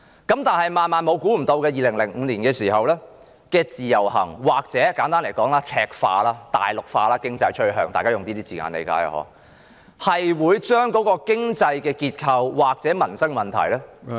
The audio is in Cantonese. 但是，萬萬想不到的是，在2005年的自由行，或簡單來說，是經濟趨向赤化或大陸化——我用這些字眼，大家應該理解——會把經濟結構或民生問題......